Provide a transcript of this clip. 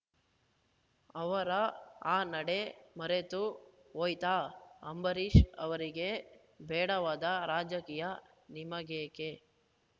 ಅವರ ಆ ನಡೆ ಮರೆತು ಹೋಯ್ತಾ ಅಂಬರೀಷ್‌ ಅವರಿಗೆ ಬೇಡವಾದ ರಾಜಕೀಯ ನಿಮಗೇಕೆ